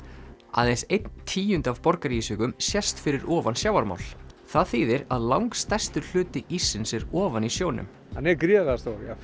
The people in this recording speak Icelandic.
aðeins einn tíundi af sést fyrir ofan sjávarmál það þýðir að langstærstur hluti íssins er ofan í sjónum hann er gríðarlega stór